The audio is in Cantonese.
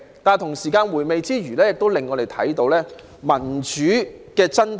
不過，在回味之餘，我們亦看到民主的真締。